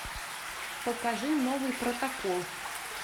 покажи новый протокол